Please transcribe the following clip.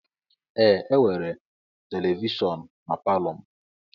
Ee e nwere televishon n'palo m.